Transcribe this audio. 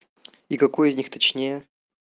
и какой из них точнее